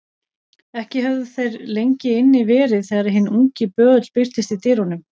Ekki höfðu þeir lengi inni verið þegar hinn ungi böðull birtist í dyrunum.